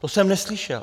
To jsem neslyšel.